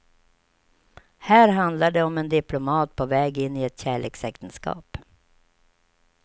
Här handlar det om en diplomat på väg in i ett kärleksäktenskap.